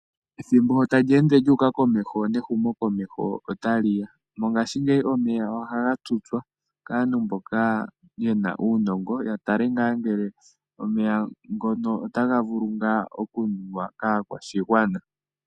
Ethimbo sho tali ende lyu uka komeho nehumokomeho otali ya. Mongashingeyi omeya ohaga tutswa kaantu mboka yena uunongo. Ya tale ngaa ngele omeya ngono otaga vulu ngaa okunuwa kaakwashigwana.